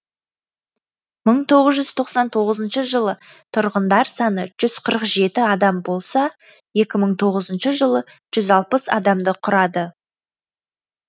мың тоғыз жүз тоқсан тоғызыншы жылы тұрғындар саны жүз қырық жеті адам болса екі мың тоғызыншы жылы жүз алпыс адамды құрады